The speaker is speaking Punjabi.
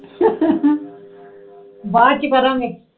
ਬਾਅਦ ਚੇ ਕਰਾਂਗੇ